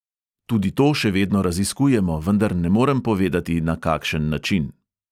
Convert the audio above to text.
Tudi to še vedno raziskujemo, vendar ne morem povedati, na kakšen način.